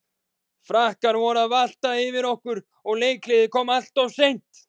Frakkar voru að valta yfir okkur og leikhléið kom alltof seint.